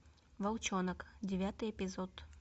волчонок девятый эпизод